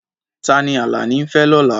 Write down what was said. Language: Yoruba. Ta ni Alani ń fẹ́ lọ́la?